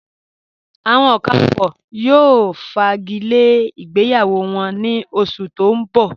Awọn Okafors yóò fágílẹ̀ ìgbéyàwó wọn ní ọ̀ṣù tó n bọ̀.